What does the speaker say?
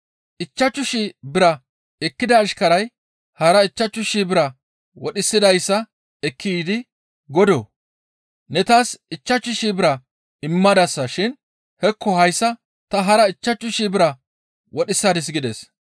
Ichchashu shii bira ekkida ashkaray hara ichchashu shii bira wodhisidayssa ekki yiidi, ‹Godoo! Ne taas ichchashu shii bira immadasa shin hekko hayssa ta hara ichchashu shii bira wodhisadis› gides.